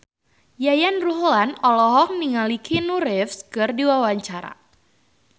Yayan Ruhlan olohok ningali Keanu Reeves keur diwawancara